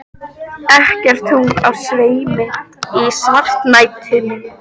Ekkert tungl á sveimi í svartnættinu.